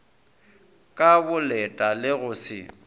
ka boleta le go se